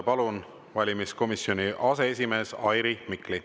Palun, valimiskomisjoni aseesimees Airi Mikli!